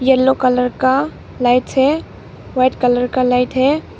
Yellow colour का lights है white colour का लाइट है।